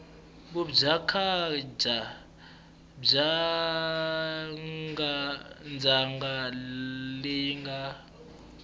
vudyandzhaka bya ndzhaka leyi nga